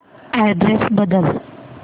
address बदल